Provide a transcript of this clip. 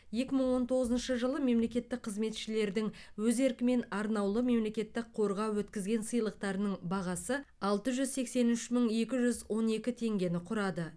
екі мың он тоғызыншы жылы мемлекеттік қызметшілердің өз еркімен арнаулы мемлекеттік қорға өткізген сыйлықтарының бағасы алты жүз сексен үш мың екі жүз он екі теңгені құрады